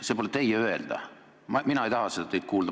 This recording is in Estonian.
See pole teie öelda, mina ei taha seda teilt kuulda.